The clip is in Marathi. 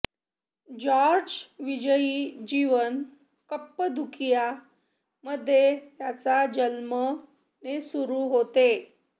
जॉर्ज विजयी जीवन कप्पदुकिया मध्ये त्याचा जन्म ने सुरू होते